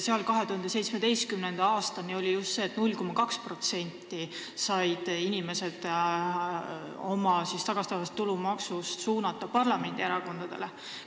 Seal oli 2017. aastani just nii, et inimesed said 0,2% endale tagastatavast tulumaksust suunata parlamendierakondadele.